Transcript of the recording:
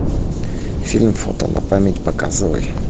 фильм фото на память показывай